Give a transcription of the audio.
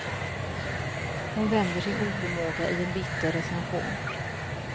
Hon vänder sin oförmåga i en bitter recension.